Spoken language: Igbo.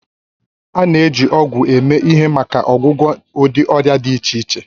A na-eji ọgwụ eme ihe maka ọgwụgwọ ụdị ọrịa dị iche iche